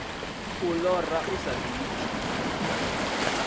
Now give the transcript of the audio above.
u lora hu sa ḓifhi